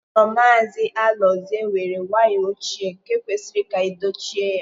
Ụlọ Maazị Alozie were waya ochie nke kwesịrị ka edochie ya.